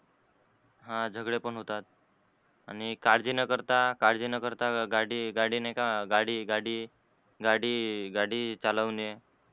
हा झगडे पण होतात. आणि काळजी न करता काळजी न करता गाडी गाडी नाही का गाडी गाडी गाडी गाडी चालवने,